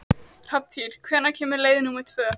Hrafntýr, hvenær kemur leið númer tvö?